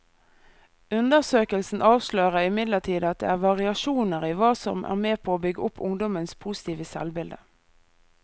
Undersøkelsen avslører imidlertid at det er variasjoner i hva som er med på å bygge opp ungdommenes positive selvbilde.